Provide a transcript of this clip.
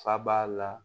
Fa b'a la